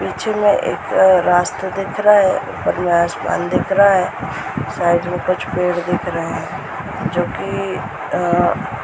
पीछे में एक अ रास्ता दिख रहा है। ऊपर में आसमान दिख रहा है। साइड में कुछ पेड़ दिख रहे है। जो की अ अ--